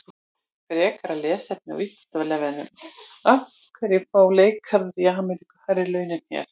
Frekara lesefni á Vísindavefnum: Af hverju fá leikarar í Ameríku hærri laun en hér?